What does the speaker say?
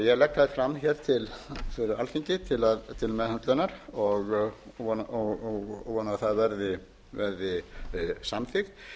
ég legg þær fram hér fyrir alþingi til meðhöndlunar og vona að það verði samþykkt